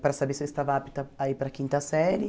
para saber se eu estava apta a ir para a quinta série.